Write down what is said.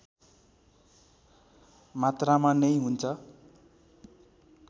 मात्रामा नै हुन्छ